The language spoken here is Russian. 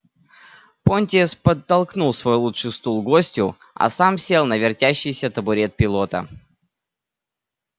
понтес подтолкнул свой лучший стул гостю а сам сел на вертящийся табурет пилота